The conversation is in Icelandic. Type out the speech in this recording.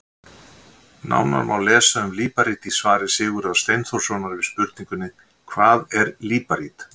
Nánar má lesa um líparít í svari Sigurðar Steinþórssonar við spurningunni Hvað er líparít?